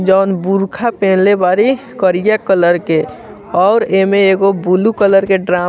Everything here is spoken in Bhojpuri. जोन बुर्खा पहनले बाड़ी करिया कलर के और ए मे एगो बुलू कलर के ड्रा --